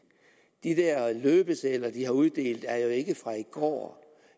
de der løbesedler de har uddelt er jo ikke fra i går